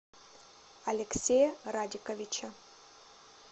алексея радиковича